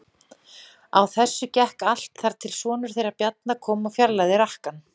Á þessu gekk allt þar til sonur þeirra Bjarna kom og fjarlægði rakkann.